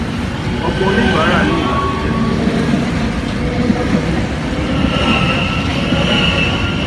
ọpọ oníbàárà ní ìbànújẹ pẹlú ìlósókè tó péjọ nínú iye owó oúnjẹ bí akara àti wara